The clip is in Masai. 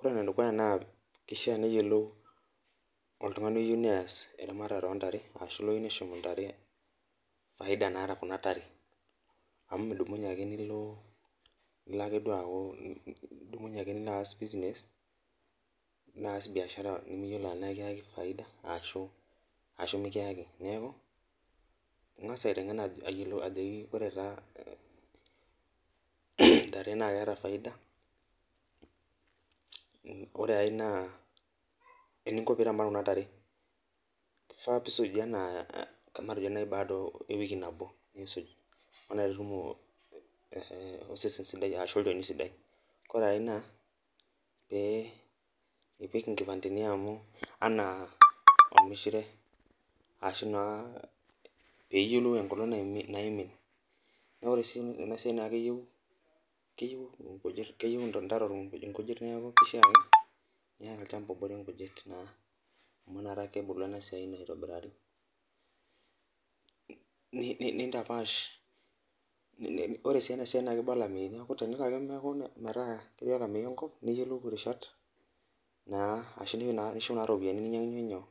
Ore ene dukuya naa kishaa neyiolou oltungani ooyieu nees eramatare oo ntare, ashu loyieu nishum ntare faida naata Kuna tare, amu midumunye ake nilo, ake duoo aku, nilo aas business naas biashara nimiyiolo tenaa ekiyaki faida ashu ashu mikiaki. neeku, ingas aitengen ajoki ore taa ntare naa keeta faida, ore ae naa eninko pee iramat Kuna tare, kifaa pee isuj matejo naaji baada wiki nabo. nisuj, osesen sidai ashu olchoni, ore ae naa, ee ipik inkipandeni anaa olmishire, ashu naa pee iyiolou enkolong' naimin, ore ena siai keyieu nkujit keyieu ntare inkujit neeku kishaa ake niata olchampa obore nkujit naa amu epuo mpisai aitobiraki. nintapaash. Ore sii ena siai kiba olameyu tenelo ake neeku metaa ketii olameyu enkop, niyiolou irishat naa , ashu ishuk naa iropiyiani ninyiang'unye inyoo,